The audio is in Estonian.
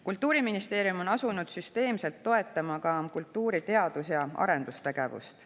Kultuuriministeerium on asunud süsteemselt toetama ka kultuuri teadus- ja arendustegevust.